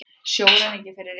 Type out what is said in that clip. Sjóræningjar fyrir rétti